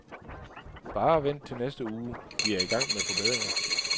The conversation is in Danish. Bare vent til næste uge, vi er i gang med forbedringer.